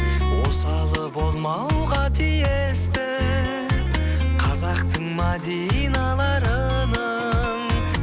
осалы болмауға тиісті қазақтың мәдиналарының